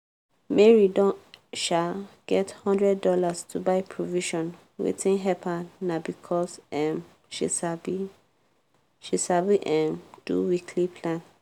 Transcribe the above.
mary don um get one hundred dollarsto buy provision waitng help her na becasue um she sabi she sabi um do weekly plan.